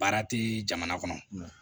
Baara tɛ jamana kɔnɔ